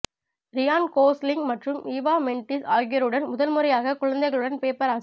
Ryan Gosling மற்றும் Eva Mendes ஆகியோருடன் முதல் முறையாக குழந்தைகளுடன் பேப்பராசி